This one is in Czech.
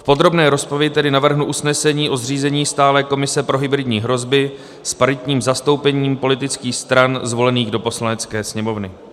V podrobné rozpravě tedy navrhnu usnesení o zřízení stálé komise pro hybridní hrozby s paritním zastoupením politických stran zvolených do Poslanecké sněmovny.